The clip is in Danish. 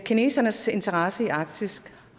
kinesernes interesse i arktis